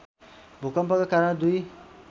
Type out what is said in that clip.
भूकम्पका कारण दुई